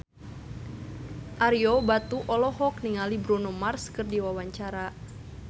Ario Batu olohok ningali Bruno Mars keur diwawancara